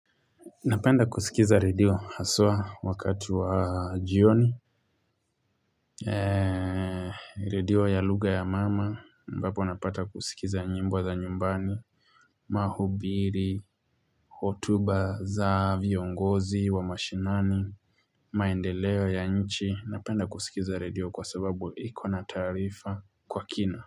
Napenda kusikiza redio haswa wakati wa jioni. Radio ya lugha ya mama ambapo napata kusikiza njimbo za nyumbani. Maubiri, hotuba, za viongozi, wa mashinani, maendeleo ya nchi. Napenda kusikiza radio kwa sababu ikona taarifa kwa kina.